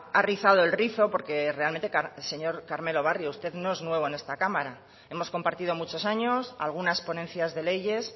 ha rizado el rizo porque realmente señor carmelo barrio usted no es nuevo en esta cámara hemos compartido muchos años algunas ponencias de leyes